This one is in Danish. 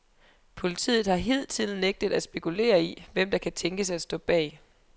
Politiet har hidtil nægtet at spekulere i, hvem der kan tænkes at stå bag.